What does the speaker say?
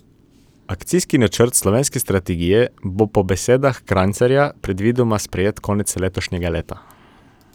Akcijski načrt slovenske strategije bo po besedah Krajcarja predvidoma sprejet konec letošnjega leta.